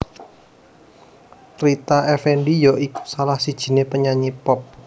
Rita Effendy ya iku salah sijiné penyanyi pop